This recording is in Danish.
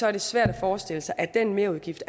er det svært at forestille sig at den merudgift